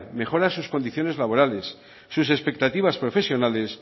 mejora sus condiciones laborales sus expectativas profesionales